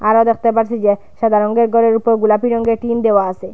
আরো দেখতে পারছি যে সাদা রঙ্গের ঘরের উপর গোলাপি রঙ্গের টিন দেওয়া আছে।